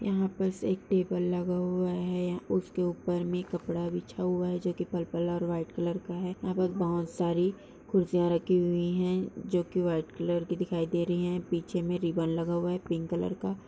यहाँ बस एक टेबल लगा हुआ है। यहाँ उसके ऊपर में कपड़ा बिछा हुआ है जो कि पर्पल और व्हाइट कलर का है। यहाँ पर बहोत सारी कुर्सियां रखी हुई हैं जो कि व्हाइट कलर की दिखाई दे रही हैं। पीछे में रिबन लगा हुआ है पिंक कलर का।